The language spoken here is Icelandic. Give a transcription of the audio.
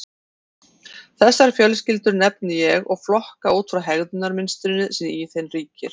Þessar fjölskyldur nefni ég og flokka út frá hegðunarmynstrinu sem í þeim ríkir.